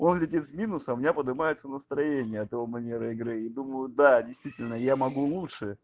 о летит в минус а у меня поднимается настроение от его манеры игры и думаю да действительно я могу лучше